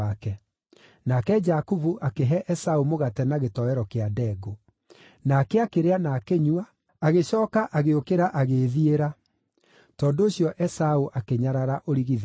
Nake Jakubu akĩhe Esaũ mũgate na gĩtoero kĩa ndengũ. Nake akĩrĩa na akĩnyua, agĩcooka agĩũkĩra agĩĩthiĩra. Tondũ ũcio Esaũ akĩnyarara ũrigithathi wake.